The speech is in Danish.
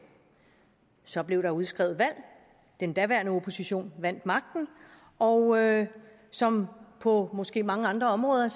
så blev der udskrevet valg den daværende opposition vandt magten og som på måske mange andre områder